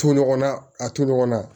To ɲɔgɔnna a to ɲɔgɔnna